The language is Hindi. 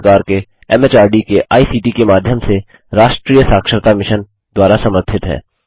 भारत सरकार के एमएचआरडी के आईसीटी के माध्यम से राष्ट्रीय साक्षरता मिशन द्वारा समर्थित है